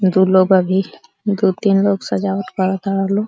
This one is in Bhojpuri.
दू लोग अभी दु तीन लोग सजावट कर ताड़ लोग।